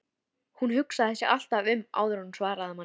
Hún hugsaði sig alltaf um áður en hún svaraði manni.